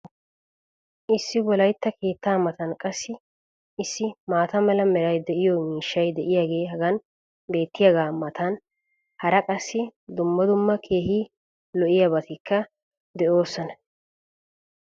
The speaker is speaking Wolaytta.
Issi wolaytta keettaa matan qassi issi maata mala meray de'iyo miishshay diyaagee hagan beetiyaagaa matan hara qassi dumma dumma keehi lo'iyaabatikka de'oosona.